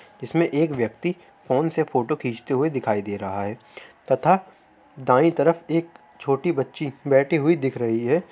इसमे एक व्यक्ति फोन से फोटो खींचते हुए दिखाई दे रहा है तथा बाई तरफ एक छोटी बच्ची बैठी हुई दिख रही है।